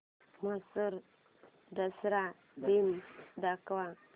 म्हैसूर दसरा दिन दाखव